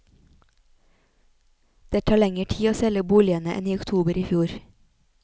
Det tar lenger tid å selge boligene enn i oktober i fjor.